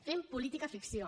fem política ficció